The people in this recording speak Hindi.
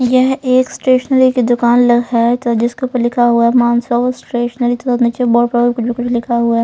यह एक स्टेशनरी की दुकान है जिसके ऊपर लिखा हुआ है मानसव स्टेशनरी तो नीचे बोर्ड पर कुछ भी कुछ लिखा हुआ है.